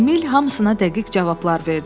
Emil hamısına dəqiq cavablar verdi.